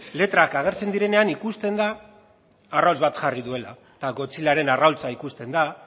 letrak agertzen direnean ikusten da arrautz bat jarri duela eta godzillaren arrautza ikusten da